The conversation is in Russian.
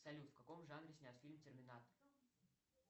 салют в каком жанре снят фильм терминатор